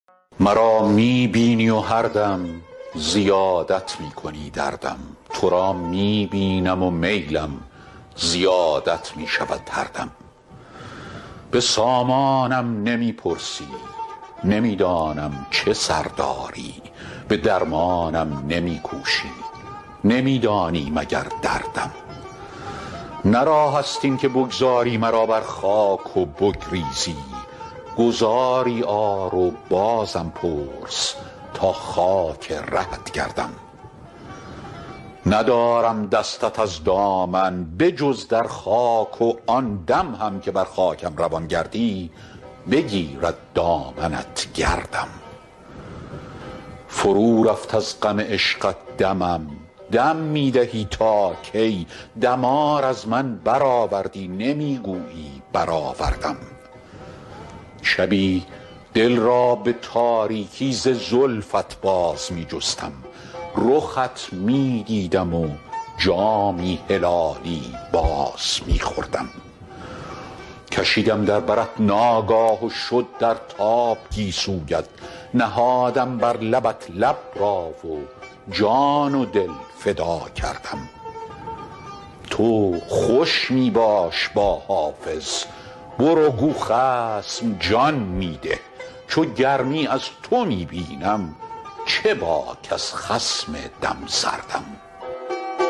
مرا می بینی و هر دم زیادت می کنی دردم تو را می بینم و میلم زیادت می شود هر دم به سامانم نمی پرسی نمی دانم چه سر داری به درمانم نمی کوشی نمی دانی مگر دردم نه راه است این که بگذاری مرا بر خاک و بگریزی گذاری آر و بازم پرس تا خاک رهت گردم ندارم دستت از دامن به جز در خاک و آن دم هم که بر خاکم روان گردی بگیرد دامنت گردم فرو رفت از غم عشقت دمم دم می دهی تا کی دمار از من برآوردی نمی گویی برآوردم شبی دل را به تاریکی ز زلفت باز می جستم رخت می دیدم و جامی هلالی باز می خوردم کشیدم در برت ناگاه و شد در تاب گیسویت نهادم بر لبت لب را و جان و دل فدا کردم تو خوش می باش با حافظ برو گو خصم جان می ده چو گرمی از تو می بینم چه باک از خصم دم سردم